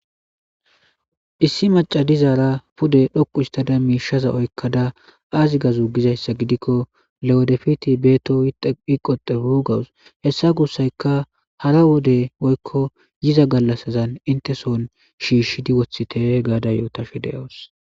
Issi macca dizzara pude dhoqu hisitadda mishaza oyikadda azi gizayissa gidikko lewedefit betow yiqotebu gawus hesa gusayika hara galasasi hara wodesi hinteson shishidi wothite gawus